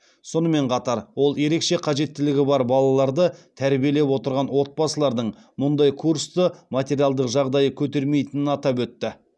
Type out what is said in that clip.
сонымен қатар ол ерекше қажеттілігі бар балаларды тәрбиелеп отырған отбасылардың мұндай курсты материалдық жағдайы көтермейтінін атап өтті